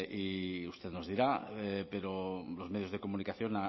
y usted nos dirá pero los medios de comunicación